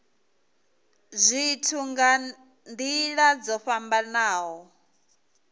zwithu nga nila dzo fhambanaho